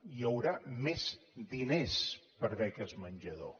hi haurà més diners per a beques menjador